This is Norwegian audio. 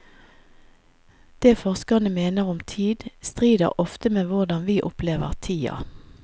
Det forskerne mener om tid, strider ofte med hvordan vi opplever tida.